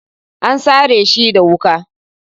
An sare shi da wuka.